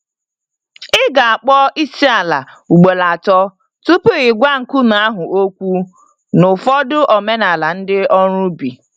Ị ga akpọ Isiala ugboro atọ tupu ị gwa nkume ahụ okwu n'ụfọdụ omenala ndị ọrụ ubi